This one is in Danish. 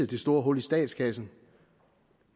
det store hul i statskassen